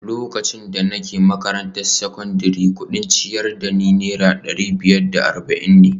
Lokacin da nake makarantar sakandare, kudin ciyar da ni Naira dari biyar da arba’in ne